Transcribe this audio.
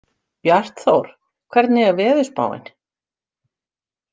Bjartþór, hvernig er veðurspáin?